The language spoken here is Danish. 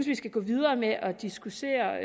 vi skal gå videre med at diskutere